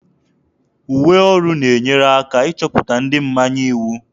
Uwe ọrụ na-enyere aka ịchọpụta ndị mmanye iwu.